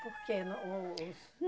Por quê? O o os